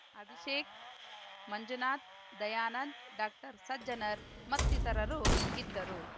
ಅಭಿಷೇಕ್‌ ಮಂಜುನಾಥ್‌ ದಯಾನಂದ್‌ ಡಾಕ್ಟರ್ಸಜ್ಜನರ್‌ ಮತ್ತಿತರರು ಇದ್ದರು